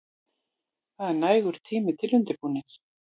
Það er nægur tími til undirbúnings.